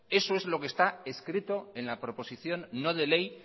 eso es lo que está escrito en la proposición no de ley